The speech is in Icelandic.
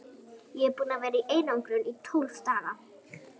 Ég er búinn að vera í einangrun í tólf daga.